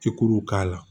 Cikuru k'a la